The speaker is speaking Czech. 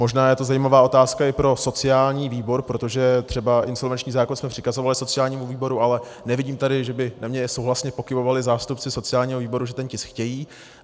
Možná je to zajímavá otázka i pro sociální výbor, protože třeba insolvenční zákon jsme přikazovali sociálnímu výboru, ale nevidím tady, že by na mě souhlasně pokyvovali zástupci sociálního výboru, že ten tisk chtějí.